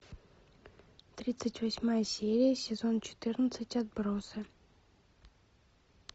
тридцать восьмая серия сезон четырнадцать отбросы